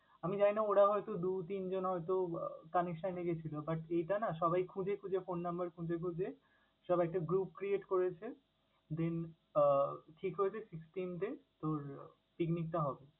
আমি জানিনা ওরা হয়তো দু-তিনজন হয়তো connection রেখেছিল but এটানা সবাই খুঁজে খুঁজে phone number খুঁজে খুঁজে সবাই একটা group create করেছে, then আহ ঠিক হয়েছে sixteenth এ তোর picnic টা হবে।